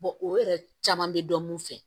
o yɛrɛ caman bɛ dɔn mun fɛ